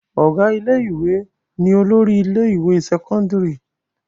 Ọ̀gá ilé-ìwé ni olórí ilé-ìwé sẹ́kọ́ndárì.